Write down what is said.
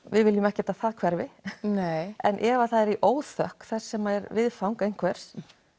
við viljum ekkert að það hverfi en ef það er í óþökk þess sem er viðfang einhvers